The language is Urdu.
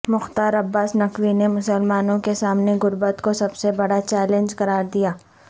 مختار عباس نقوی نے مسلمانوں کے سامنے غربت کو سب سے بڑا چیلنج قرار دیا